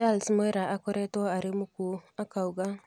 Charles Mwera akoretwo arĩ mũkuo,"akauga